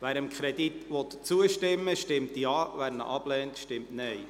Wer dem Kredit zustimmen will, stimmt Ja, wer diesen ablehnt, stimmt Nein.